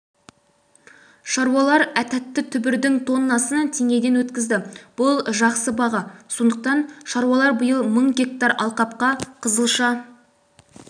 шаруалар тәтті түбірдің тоннасын теңгеден өткізді бұл жақсы баға сондықтан шаруалар биыл мың гектар алқапқа қызылша